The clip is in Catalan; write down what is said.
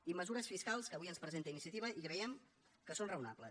i mesures fiscals que avui ens presenta iniciativa i creiem que són raonables